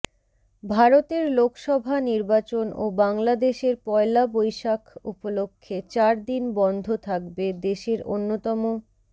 ভারতের লোকসভা নির্বাচন ও বাংলাদেশের পয়লা বৈশাখ উপলক্ষে চার দিন বন্ধ থাকবে দেশের অন্যতম